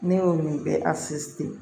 Ne y'o min bɛ